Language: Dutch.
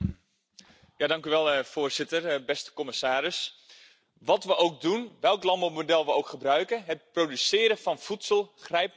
Voorzitter, commissaris, wat we ook doen en welk landbouwmodel we ook gebruiken, het produceren van voedsel grijpt nu eenmaal in in de natuur.